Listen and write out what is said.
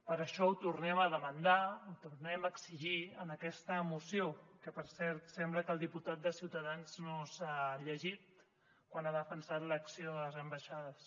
per això ho tornem a demandar ho tornem a exigir en aquesta moció que per cert sembla que el diputat de ciutadans no s’ha llegit quan ha defensat l’acció de les ambaixades